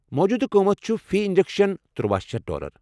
موٗجوٗدٕ قۭمتھ چُھ فی انجیکشن تٕروَہ شیتھ ڈالر